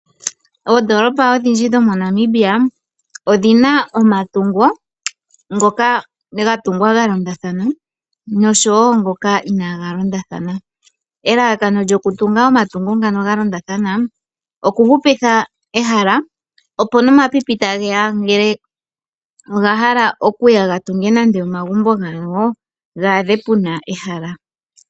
Oodoolopa odhindji moNamibia odhina omatungo ngoka gatungwa galondathana nosho wo ngoka inaaga londathana. Elalakano lyoku tunga omatungo galondathana okuhupitha ehala opo nomapipi tageya ngele ogahala okuya gatunge nande omagumbo gawo gaadhe puna ehala.